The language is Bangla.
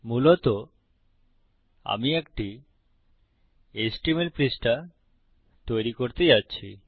মূলত আমি একটি এচটিএমএল পৃষ্ঠা তৈরী করতে যাচ্ছি